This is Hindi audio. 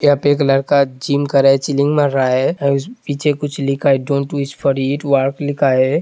''यहा पे एक लड़का का जिम कर रहा है। मार रहा है पीछे कुछ लिखा है डोंट विश फॉर ईट लिखा है।''